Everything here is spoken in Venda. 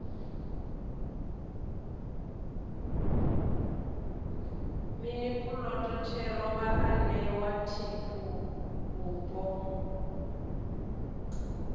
mini puloto thero vhaanewa fhethuvhupo